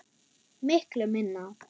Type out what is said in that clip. Miklu minna.